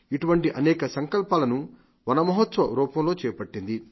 ఇటువంటి అనేక సంకల్పాలను వన మహోత్సవ రూపంలో చేపట్టింది